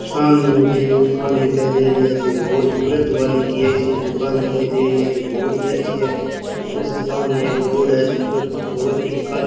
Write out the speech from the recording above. सामने मुझे एक दुकान दिखाई दे रही है जो बहुत ब्रज वाली की ऐसी दुकान दिखाई दे रही है जो बहुत ही अच्छी है उसके सामने एक रोड है जिसमें बहुत ही कद --